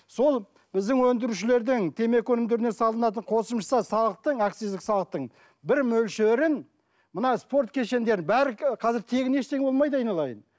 сол біздің өндірушілердің темекі өнімдеріне салынатын қосымша салықтың акциздік салықтың бір мөлшерін мына спорт кешендерін бәрі қазір тегін ештеңе болмайды айналайын